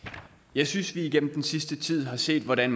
jeg synes vi igennem den seneste tid har set hvordan